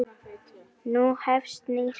Nú hefst nýr kafli.